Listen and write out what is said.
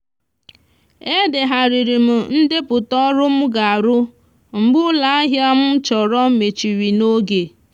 e degharịrị m ndepụta ọrụ m ga-arụ mgbe ụlọahịa m chọrọ mechiri n'oge